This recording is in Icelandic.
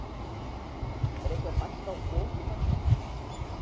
Lillý Valgerður Pétursdóttir: Er einhver hætta á foki þarna?